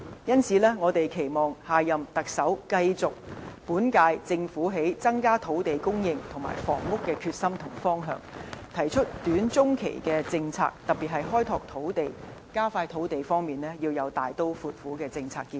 因此，我們期望下任特首繼續本屆政府在增加土地和房屋供應的決心和方向，提出短、中期的政策，特別是開拓土地，加快土地供應方面要有大刀闊斧的政策建議。